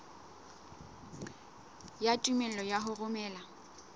ya tumello ya ho romela